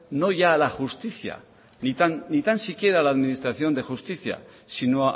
no ya a la justicia ni tan siquiera a la administración de justicia sino